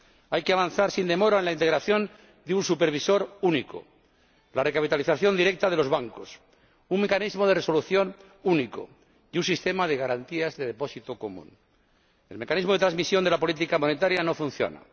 Hay que avanzar sin demora en la integración de un supervisor único, la recapitalización directa de los bancos, un mecanismo de resolución único y un sistema de garantías de depósito común. El mecanismo de transmisión de la política monetaria no funciona.